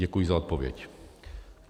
Děkuji za odpověď.